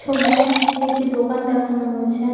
ছবিতে একটি দোকান দেখানো হয়েছে ।